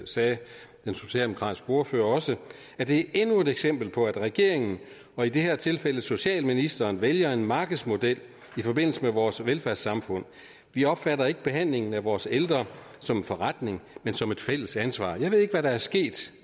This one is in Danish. sagde den socialdemokratiske ordfører også at det er endnu et eksempel på at regeringen og i det her tilfælde socialministeren vælger en markedsmodel i forbindelse med vores velfærdssamfund vi opfatter ikke behandlingen af vores ældre som en forretning men som et fælles ansvar jeg ved ikke hvad der er sket